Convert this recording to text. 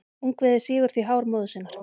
Ungviðið sýgur því hár móður sinnar.